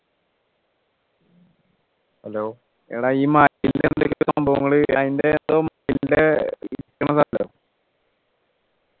എടാ ഈ സംഭവങ്ങള് അതിൻ്റെ